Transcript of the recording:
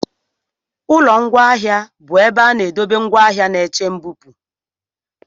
Ụlọ ngwaahịa bụ ebe a na-edobe ngwaahịa na-eche mbupụ.